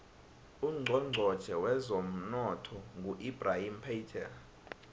ucnchonchotjhe wezemnotho ngu ebrahim patel